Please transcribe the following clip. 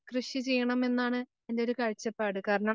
കൃഷി ചെയ്യണമെന്നാണ് എൻറെയൊരു കാഴ്ചപ്പാട്. കാരണം,